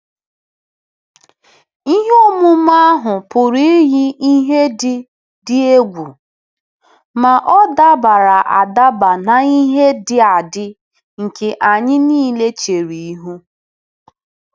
Ihe omume ahụ pụrụ iyi ihe dị dị egwu, ma ọ dabara adaba na ihe dị adị nke anyị nile chere ihu.